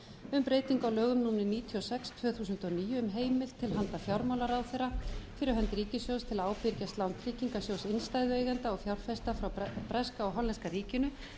um breytingu á lögum númer níutíu og sex tvö þúsund og níu um heimild til handa fjármálaráðherra fyrir hönd ríkissjóðs til að ábyrgjast lán tryggingarsjóðs innstæðueigenda og fjárfesta frá breska og hollenska ríkinu